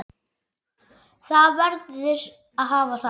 Það verður að hafa það.